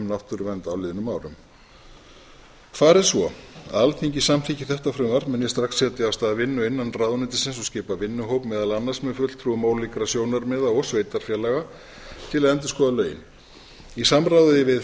náttúruvernd á liðnum árum fari svo að alþingi samþykki þetta frumvarp mun ég strax setja á stað vinnu innan ráðuneytisins og skipa vinnuhóp meðal annars með fulltrúum ólíkra sjónarmiða og sveitarfélaga til að endurskoða lögin í samræmi við